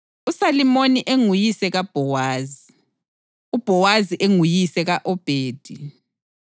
uSalimoni enguyise kaBhowazi, uBhowazi enguyise ka-Obhedi,